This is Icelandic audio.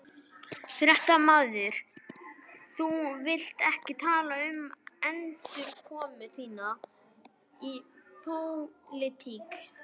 Fréttamaður: Þú vilt ekki tala um endurkomu þína í pólitík?